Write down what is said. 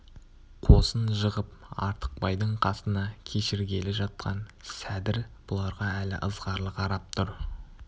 қосын жығып артықбайдың қасына кешіргелі жатқан сәдір бұларға әлі ызғарлы қарап тұр